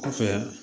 Kɔfɛ